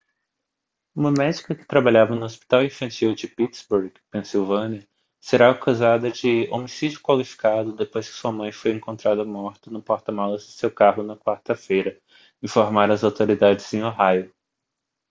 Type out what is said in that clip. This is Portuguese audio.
uma médica que trabalhava no hospital infantil de pittsburgh pensilvânia será acusada de homicídio qualificado depois que sua mãe foi encontrada morta no porta-malas do seu carro na quarta-feira informaram as autoridades em ohio